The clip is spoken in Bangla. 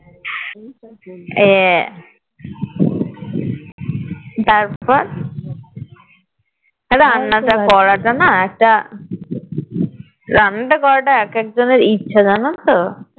হ্যাঁ তারপর রান্না টা করা না একটা রান্না টা করাটা একেকজনের ইচ্ছা জানো তো